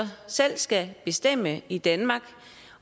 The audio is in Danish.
selv skal bestemme i danmark